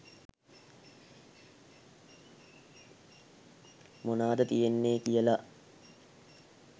මොනාද තියෙන්නෙ කියලා.